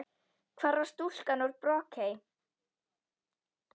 Hvar var stúlkan úr Brokey?